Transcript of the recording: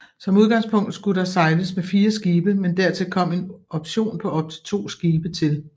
Som udgangspunkt skulle der sejles med fire skibe men dertil kom en option på op til to skibe til